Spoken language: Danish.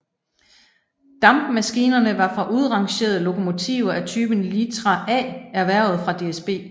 Dampmaskinerne var fra udrangerende lokomotiver af typen Litra A erhvervet fra DSB